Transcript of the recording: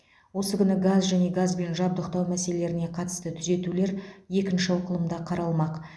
осы күні газ және газбен жабдықтау мәселелеріне қатысты түзетулер екінші оқылымда қаралмақ